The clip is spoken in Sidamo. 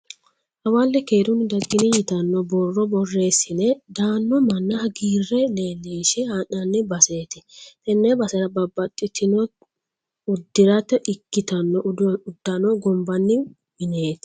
Hawelle keerunni daggini yitanno borro borreesine daano manna hagiirre leellinshe haa'nanni baseeti. Tenne basera babbaxitino uddirate ikkitanno uddano gonbanni mineeti.